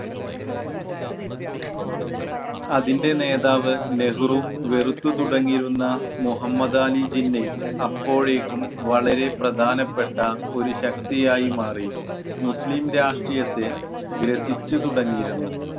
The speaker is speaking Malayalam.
അതിൻ്റെ നേതാവ് നെഹ്‌റു വെറുത്തു തുടങ്ങിയിരുന്ന മുഹമ്മദാലി ജിന്നയും അപ്പോഴേക്കും വളരെ പ്രധാനപ്പെട്ട ഒരു ശക്തി ആയി മാറി. മുസ്ലിം രാഷ്ട്രീയത്തെ ഗ്രസിച്ചു തുടങ്ങിയിരുന്നു